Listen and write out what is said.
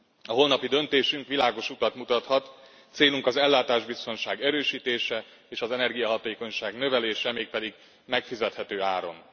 A holnapi döntésünk világos utat mutathat. Célunk az ellátásbiztonság erősítése és az energiahatékonyság növelése, mégpedig megfizethető áron.